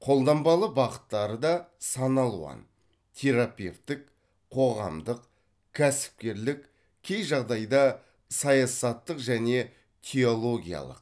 қолданбалы бағыттары да сан алуан терапевттік қоғамдық кәсіпкерлік кей жағдайда саясаттық және теологиялық